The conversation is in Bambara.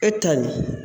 E ta ɲin